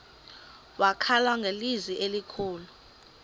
wakhala ngelizwi elikhulu